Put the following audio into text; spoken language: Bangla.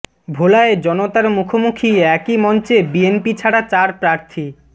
ভোলায় জনতার মুখোমুখি একই মঞ্চে বিএনপি ছাড়া চার প্রার্থী